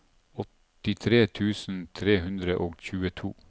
åttitre tusen tre hundre og tjueto